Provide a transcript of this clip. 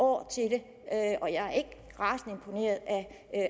år til det og jeg er ikke rasende imponeret af